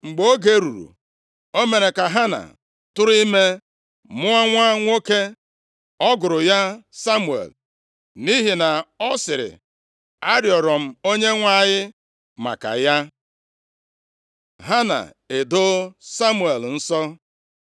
Mgbe oge ruru, o mere ka Hana tụrụ ime, mụọ nwa nwoke. Ọ gụrụ ya Samuel, nʼihi na ọ sịrị, “Arịrịọ m Onyenwe anyị maka ya.” Hana edoo Samuel nsọ